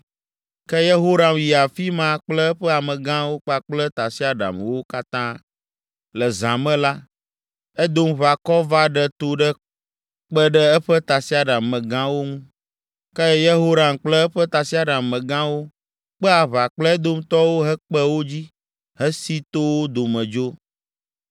Ke Yehoram yi afi ma kple eƒe amegãwo kpakple tasiaɖamwo katã. Le zã me la, Edomʋakɔ va ɖe to ɖe kpe ɖe eƒe tasiaɖam megãwo ŋu. Ke Yehoram kple eƒe tasiaɖam megãwo kpe aʋa kple Edomtɔwo hekpe wo dzi hesi to wo dome dzo.